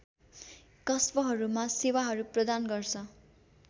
कस्बहरूमा सेवाहरू प्रदान गर्छ्